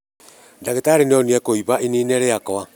Ndagĩtarĩ nĩonire kũimba ini-inĩ rĩakwa